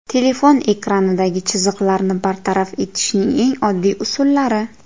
Telefon ekranidagi chiziqlarni bartaraf etishning eng oddiy usullari.